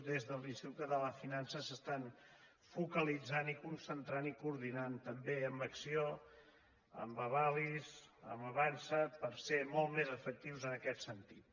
des de l’institut català de finances es focalitzen i concentren i coordinen també amb acc1ó amb avalis amb avançsa per ser molt més efectius en aquest sentit